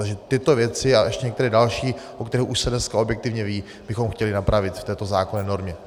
Takže tyto věci a ještě některé další, o kterých už se dneska objektivně ví, bychom chtěli napravit v této zákonné normě.